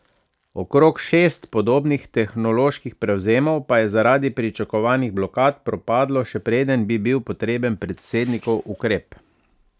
Okrog šest podobnih tehnoloških prevzemov pa je zaradi pričakovanih blokad propadlo, še preden bi bil potreben predsednikov ukrep.